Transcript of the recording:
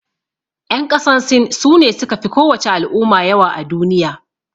Yan ƙasan sin, su ne su ka fi ko wace al'umma yawa a duniya.